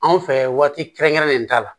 Anw fɛ waati kɛrɛnkɛrɛnnen t'a la